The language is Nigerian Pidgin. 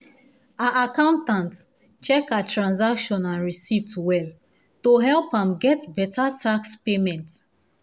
her accountant check her transaction and receipts well to help am get better tax payment